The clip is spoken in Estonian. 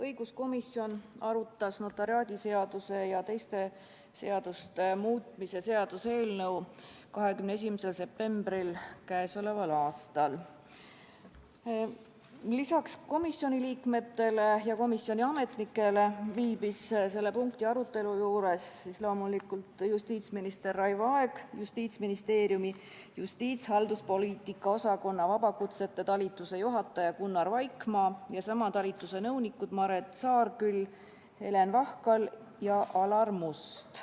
Õiguskomisjon arutas notariaadiseaduse ja teiste seaduste muutmise seaduse eelnõu 21. septembril k.a. Lisaks komisjoni liikmetele ja komisjoni ametnikele viibisid selle punkti arutelu juures loomulikult justiitsminister Raivo Aeg, Justiitsministeeriumi justiitshalduspoliitika osakonna vabakutsete talituse juhataja Gunnar Vaikmaa ja sama talituse nõunikud Maret Saanküll, Helen Vahkal ja Alar Must.